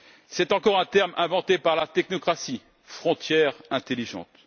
C'est encore un terme inventé par la technocratie frontière intelligente.